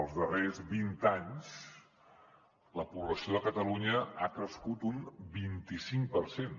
els darrers vint anys la població de catalunya ha crescut un vint i cinc per cent